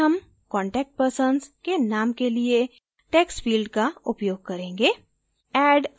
इस बार हम contact persons के name के लिए text field का उपयोग करेंगे